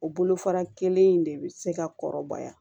O bolofara kelen in de bɛ se ka kɔrɔbaya